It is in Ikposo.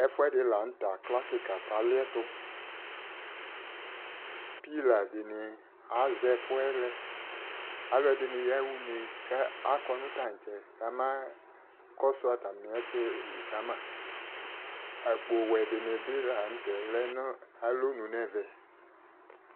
Ɛfoɛde lantɛ akla kika ka liɛtoPila de ne azɛ ɛfuɛ lɛ Alɛde ne yaha une kakɔ no tantsɛ kama kɔso atame ɛsɛ li kamaAkpowɛ de be lantɛ lɛ no alɔnu nɛvɛ